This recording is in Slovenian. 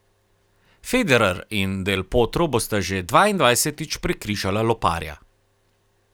Federer in Del Potro bosta že dvaindvajsetič prekrižala loparja.